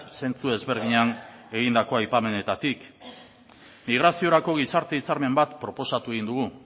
zentzu ezberdinean egindako aipamenetatik migraziorako gizarte hitzarmen bat proposatu egin dugu